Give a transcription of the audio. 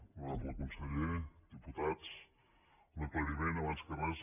honorable conseller diputats un aclariment abans que res